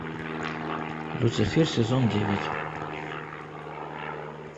люцифер сезон девять